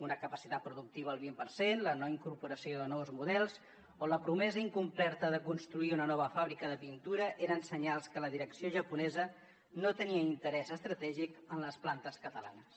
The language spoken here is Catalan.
una capacitat productiva al vint per cent la no incorporació de nous models o la promesa incomplerta de construir una nova fàbrica de pintura eren senyals que la direcció japonesa no tenia interès estratègic en les plantes catalanes